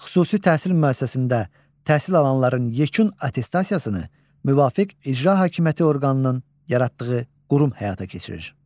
Xüsusi təhsil müəssisəsində təhsil alanların yekun attestasiyasını müvafiq icra hakimiyyəti orqanının yaratdığı qurum həyata keçirir.